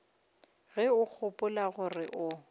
ge o gopola gore o